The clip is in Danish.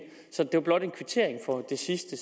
så det var blot en kvittering for det sidste